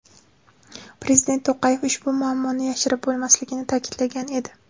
Prezident To‘qayev ushbu muammoni yashirib bo‘lmasligini ta’kidlagan edi .